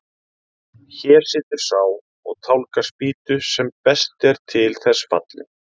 Hér situr sá og tálgar spýtu sem best er til þess fallinn.